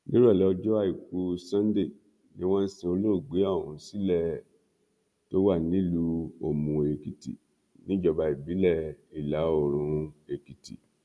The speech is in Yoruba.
nírọlẹ ọjọ àìkú sannde ni wọn sin olóògbé ọhún sílẹ ẹ tó wà nílùú òmùóèkìtì níjọba ìbílẹ ìlàoòrùn èkìtì